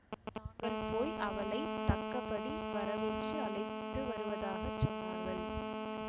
தாங்கள் போய் அவளை தக்கபடி வரவேற்று அழைத்து வருவதாக சொன்னார்கள்